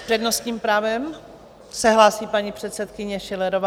S přednostním právem se hlásí paní předsedkyně Schillerová.